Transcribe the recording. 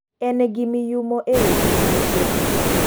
En gi miyumo e weche tuke